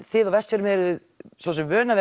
þið á Vestfjörðum eruð svo sem vön